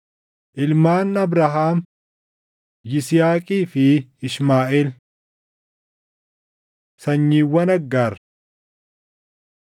Ilmaan Abrahaam: Yisihaaqii fi Ishmaaʼeel. Sanyiiwwan Aggaar 1:29‑31 kwf – Uma 25:12‑16